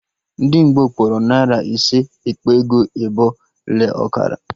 Ndị Ngbo kpọrọ narị ise, ekpe ego ebọ le ọkara